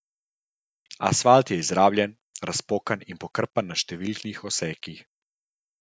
Asfalt je izrabljen, razpokan in pokrpan na številnih odsekih.